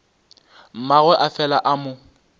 mmagwe a fela a mo